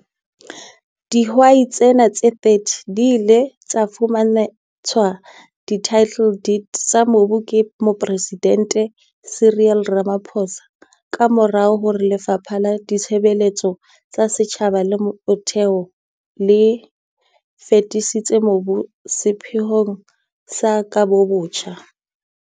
Dihwai tsena tse 30 di ile tsa fumantshwa di-title deed tsa mobu ke Mopresidente Cyril Ramaphosa ka mora hore Lefapha la Ditshebeletso tsa Setjhaba le Metheo le fetisetse mobu oo sepheong sa kabobotjha.